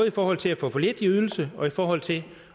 i forhold til at få for lidt i ydelse og i forhold til